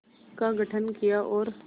का गठन किया और